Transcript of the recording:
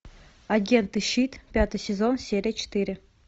агенты щит пятый сезон серия четыре